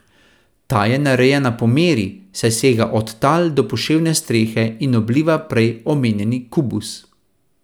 Ta je narejena po meri, saj sega od tal do poševne strehe in obliva prej omenjeni kubus.